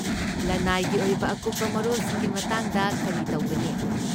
ꯂꯅꯥꯏꯒꯤ ꯑꯣꯏꯕ ꯑꯀꯨꯞꯄ ꯃꯔꯣꯜꯁꯤꯡꯒꯤ ꯃꯇꯥꯡꯗ ꯀꯔꯤ ꯇꯧꯒꯅꯤ?